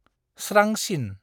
स्रांसिन।